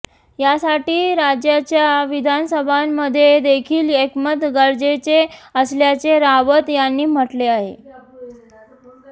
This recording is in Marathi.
यासाटी राज्याच्या विधानसभांमध्ये देखील एकमत गरजेचे असल्याचे रावत यांनी म्हटले आहे